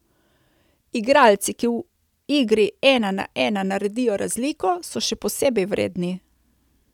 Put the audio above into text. Igralci, ki v igri ena na ena naredijo razliko, so še posebej vredni.